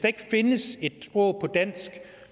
ikke findes et sprog på dansk